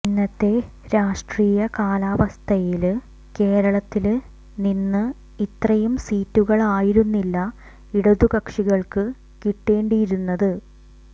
ഇന്നത്തെ രാഷ്ട്രീയ കാലാവസ്ഥയില് കേരളത്തില് നിന്ന് ഇത്രയും സീറ്റുകളായിരുന്നില്ല ഇടതുകക്ഷികള്ക്ക് കിട്ടേണ്ടിയിരുന്നത്